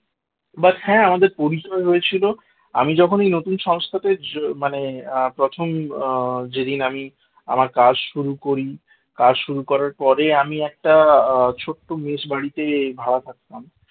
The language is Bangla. but হ্যাঁ আমাদের পরিচয় হয়েছিল আমি যখনই নতুন সংস্থাতে যোগ হ্যাঁ মানে প্রথম যেদিন আমি আমার কাজ শুরু করি কাজ শুরু করার পরে আমি একটা ছোট্ট মেস বাড়িতে ভাড়া থাকতাম